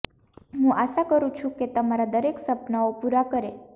હું આશા કરું છું કે તમારા દરેક સપનાઓ પુરા કરે